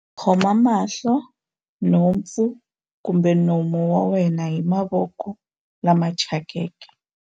Khoma mahlo, nhompfu kumbe nomo wa wena hi mavoko lama thyakeke.